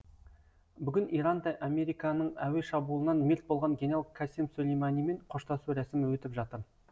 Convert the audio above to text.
бүгін иранда американың әуе шабуылынан мерт болған генерал касем сүлейманимен қоштасу рәсімі өтіп жатыр